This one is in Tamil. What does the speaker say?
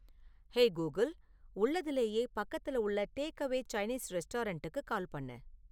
ஹேய் கூகில், உள்ளத்திலேயே பக்கத்தில உள்ள டேக்அவே சைனீஸ் ரெஸ்டாரென்டுக்கு கால் பண்ணு